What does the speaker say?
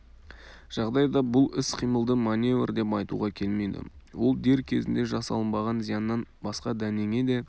жағдайда бұл іс-қимылды маневр деп айтуға келмейді ол дер кезінде жасалынбаған зияннан басқа дәнеңе де